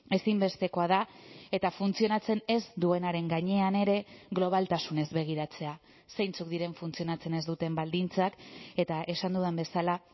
ezinbestekoa da eta funtzionatzen ez duenaren gainean ere globaltasunez begiratzea zeintzuk diren funtzionatzen ez duten baldintzak eta esan dudan bezala